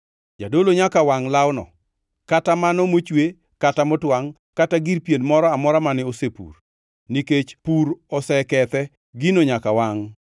Jadolo nyaka wangʼ lawno, kata mano mochwe kata motwangʼ kata gir pien moro amora mane osepur, nikech pur osekethe; gino nyaka wangʼ.